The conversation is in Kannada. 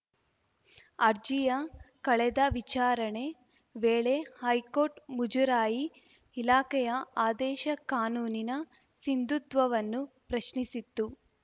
ಅರ್ಜಿಯ ಕಳೆದ ವಿಚಾರಣೆ ವೇಳೆ ಹೈಕೋರ್ಟ್‌ ಮುಜರಾಯಿ ಇಲಾಖೆಯ ಆದೇಶ ಕಾನೂನಿನ ಸಿಂಧುತ್ವವನ್ನು ಪ್ರಶ್ನಿಸಿತ್ತು